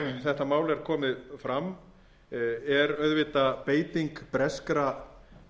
þetta mál er komið fram er auðvitað beiting breskra